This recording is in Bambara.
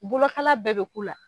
Bolokala bɛɛ be k'u la.